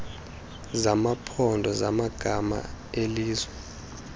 zamaphondo zamagama ezelizwe